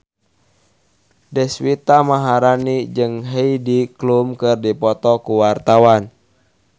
Deswita Maharani jeung Heidi Klum keur dipoto ku wartawan